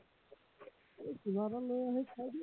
কিবা এটা লৈ আহি খাই দিয়া